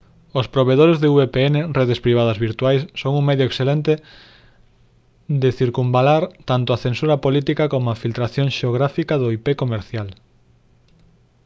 os provedores de vpn redes privadas virtuais son un medio excelente de circunvalar tanto a censura política coma a filtración xeográfica do ip comercial